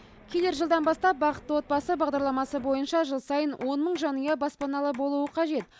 келер жылдан бастап бақытты отбасы бағдарламасы бойынша жыл сайын он мың жанұя баспаналы болуы қажет